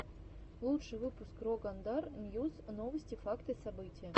лучший выпуск рогандар ньюс новости факты события